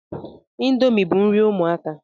Indomie bu nri ụmụaka